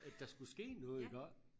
at der skulle ske noget iggå